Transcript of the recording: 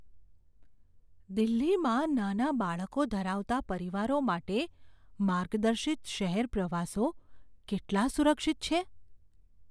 દિલ્હીમાં નાના બાળકો ધરાવતા પરિવારો માટે માર્ગદર્શિત શહેર પ્રવાસો કેટલા સુરક્ષિત છે?